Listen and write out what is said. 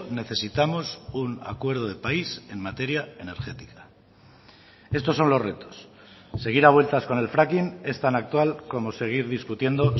necesitamos un acuerdo de país en materia energética estos son los retos seguir a vueltas con el fracking es tan actual como seguir discutiendo